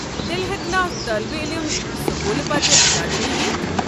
تیٚلہِ ہٮ۪کنا طٲلب علم سکوُلہٕ پتہٕ اکادمی یتِھ؟